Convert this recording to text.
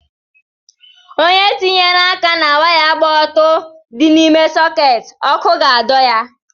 onye tinyere aka na waya kpa ọtọ di n’ime soketi, ọkụ ga-adọ ya